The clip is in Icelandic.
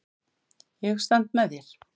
Ég stend með þér.